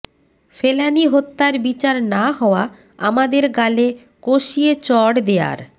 ফেলানী হত্যার বিচার না হওয়া আমাদের গালে কষিয়ে চড় দেয়ার